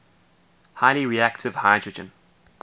highly reactive hydrogen